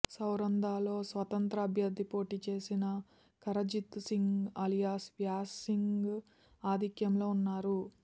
శరౌంధలో స్వతంత్ర అభ్యర్థి పోటీచేసిన కరణ్జీత్ సింగ్ అలియాస్ వ్యాస్ సింగ్ ఆధిక్యంలో ఉన్నారు